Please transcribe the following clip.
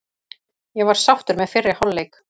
Ég var sáttur með fyrri hálfleik.